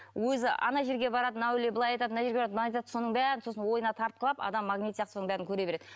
өзі ана жерге барады мына әулие былай айтады мына жерге барады мынаны айтады соның бәрін сосын ойына тартқылап адам магнит сияқты соның бәрін көре береді